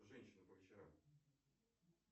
женщину по вечерам